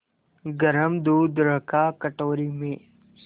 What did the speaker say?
गरम दूध रखा कटोरी में